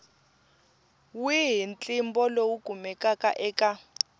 wihi ntlimbo lowu kumekaka eka